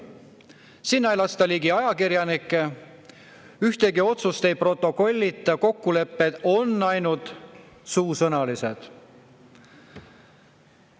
Sinna ei lasta ajakirjanikke ligi, ühtegi otsust ei protokollita, kokkulepped on ainult suusõnalised.